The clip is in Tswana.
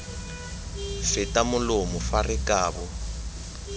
feta molomo fa re kabo